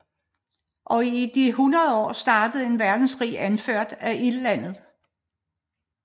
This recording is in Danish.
Og i de 100 år starter en verdenskrig anført af Ildlandet